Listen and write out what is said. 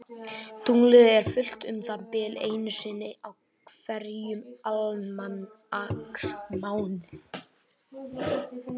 Tunglið er fullt um það bil einu sinni í hverjum almanaksmánuði.